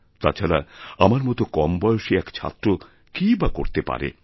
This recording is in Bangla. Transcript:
তাছাড়া আমার মত কমবয়সী এক ছাত্র কীই বা করতে পারে